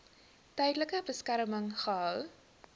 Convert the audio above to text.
tydelike beskerming gehou